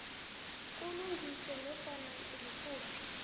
kulungiswe nofana ngikuphi